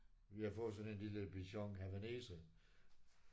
Vi har fået sådan en lille bichon havaneser